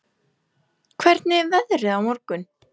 Gaston, hvernig er veðrið á morgun?